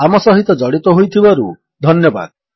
ଆମ ସହିତ ଜଡିତ ହୋଇଥିବାରୁ ଧନ୍ୟବାଦ